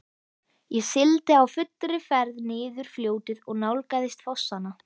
Ég sigldi á fullri ferð niður fljótið og nálgaðist fossana.